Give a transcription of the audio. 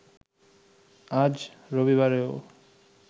আজ রবিবারেও